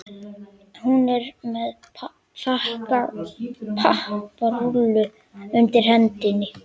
Hún er með þakpapparúllu undir hendinni.